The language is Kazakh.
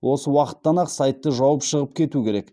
осы уақыттан ақ сайтты жауып шығып кету керек